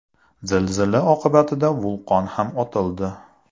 Zilzila oqibatida vulqon ham otildi.